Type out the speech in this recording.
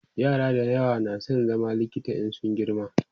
yara da yawa na San zama likita in sun girma